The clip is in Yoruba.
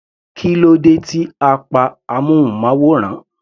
Kílódé tí a pa amúnmáwòrán.